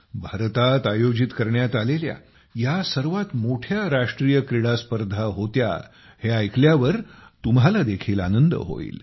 भारतात आयोजित करण्यात आलेल्या या सर्वात मोठ्या राष्ट्रीय क्रीडास्पर्धा होत्या हे ऐकल्यावर तुम्हांला देखील आनंद होईल